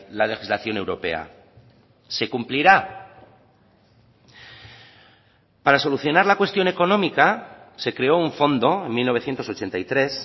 la legislación europea se cumplirá para solucionar la cuestión económica se creó un fondo en mil novecientos ochenta y tres